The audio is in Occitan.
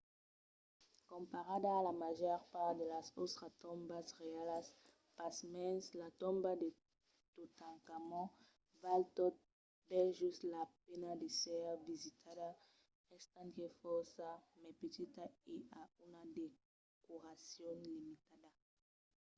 comparada a la màger part de las autras tombas reialas pasmens la tomba de totankhamon val tot bèl just la pena d'èsser visitada estant qu'es fòrça mai petita e a una decoracion limitada